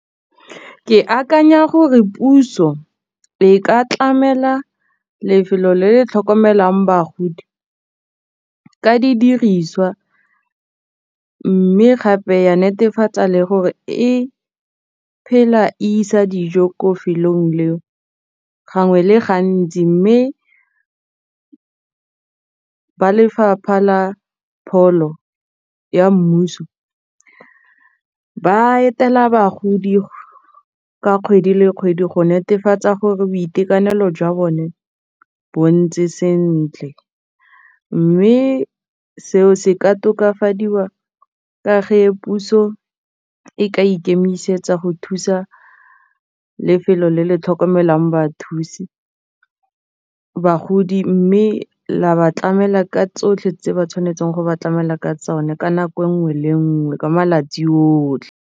Ke akanya gore puso e ka tlamela lefelo le le tlhokomelang bagodi ka didiriswa mme gape ya netefatsa le gore e phela e isa dijo ko lefelong leo gangwe le gantsi mme ba lefapha la pholo ya mmuso ba etela bagodi ka kgwedi le kgwedi go netefatsa gore boitekanelo jwa bone bo ntse sentle mme seo se ka tokafadiwa ka puso e ka ikemisetsa go thusa lefelo le le tlhokomelang bathusi bagodi mme la ba tlamela ka tsotlhe tse ba tshwanetseng go ba tlamela ka tsone ka nako nngwe le nngwe ka malatsi otlhe.